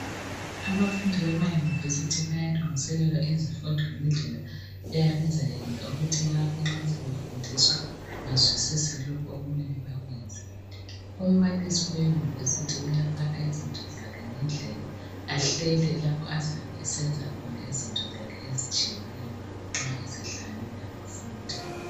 Abafundi bema university bayalungiselelwa ezifundweni indlela eyabe izayenza ukuthi nxa sebefundiswa bazwisise lokhu okumele bakwenze umbalise we university uyafaka ngendlela allele lapha azabe esenza khona izinto zakhe ezitshiyeneyo nxa esehlangene labafundi